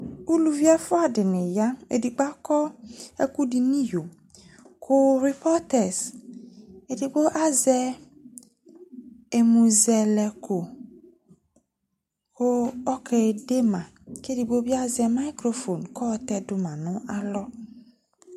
uluvi ɛfoa di ni ya edigbo akɔ ɛko do no iyo ko ripɔtɛs edigbo azɛ ɛmozɛlɛko ko ɔke de ma ko edigbo bi azɛ mikrofon ko ayɔ tɛ do ma no alɔ